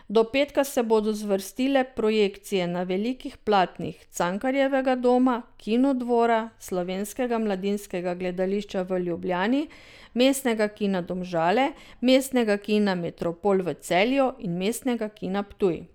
Do petka se bodo zvrstile projekcije na velikih platnih Cankarjevega doma, Kinodvora, Slovenskega mladinskega gledališča v Ljubljani, Mestnega kina Domžale, Mestnega kina Metropol v Celju in Mestnega kina Ptuj.